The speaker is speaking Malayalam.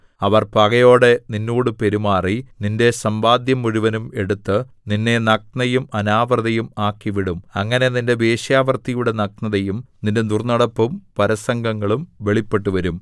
അവർ പകയോടെ നിന്നോട് പെരുമാറി നിന്റെ സമ്പാദ്യം മുഴുവനും എടുത്ത് നിന്നെ നഗ്നയും അനാവൃതയും ആക്കിവിടും അങ്ങനെ നിന്റെ വേശ്യാവൃത്തിയുടെ നഗ്നതയും നിന്റെ ദുർന്നടപ്പും പരസംഗങ്ങളും വെളിപ്പെട്ടുവരും